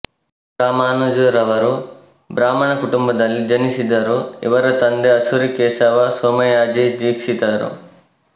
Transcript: ರಾಮಾನುಜರವರು ಬ್ರಾಹ್ಮಣ ಕುಟುಂಬದಲ್ಲಿ ಜನಿಸಿದರು ಇವರ ತಂದೆ ಅಸುರಿ ಕೇಶವ ಸೊಮಯಾಜಿ ದೀಕ್ಷೀತರು